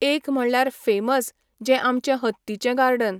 एक म्हणल्यार फॅमस जें आमचें हत्तीचें गार्डन.